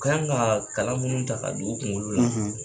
U kan ka kalan munnu ta ka don u kunkolo la